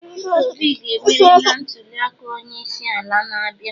Peter Obi ga-emeri na ntuliaka onyeisiala na-abịa